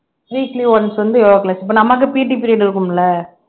weekly once வந்து yoga class இப்ப நமக்கு PT period இருக்கும்ல